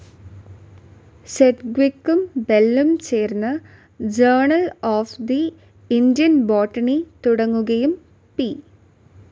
സെഡ്ഗ്വിക്കും ബെല്ലും ചേർന്ന് journal of the Indian botany തുടങ്ങുകയും പി.